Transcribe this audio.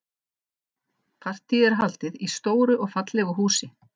Partíið er haldið í stóru og fallegu húsi.